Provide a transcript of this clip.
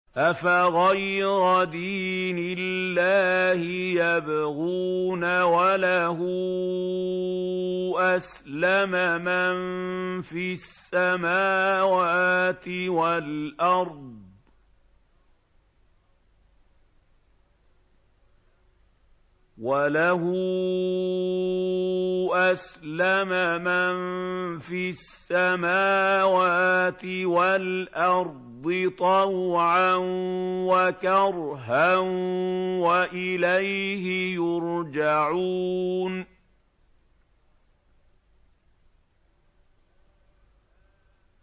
أَفَغَيْرَ دِينِ اللَّهِ يَبْغُونَ وَلَهُ أَسْلَمَ مَن فِي السَّمَاوَاتِ وَالْأَرْضِ طَوْعًا وَكَرْهًا وَإِلَيْهِ يُرْجَعُونَ